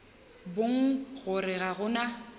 bona gore ga go na